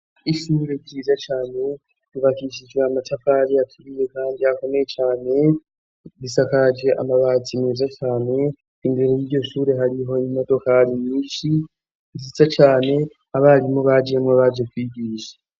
Ishure ryiza cane ryubakishijwe amatafari aturiye kandi akomeye cane, risakaje amabati meza cane, imbere y'iryo shure hariho imodokari nyinshi nziza cane, abarimu bajemwo baje kwigisha.